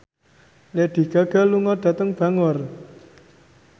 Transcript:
Lady Gaga lunga dhateng Bangor